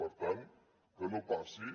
per tant que no passi